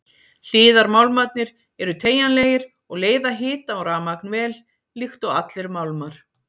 Hliðarmálmarnir eru teygjanlegir og leiða hita og rafmagn vel, líkt og allir málmar.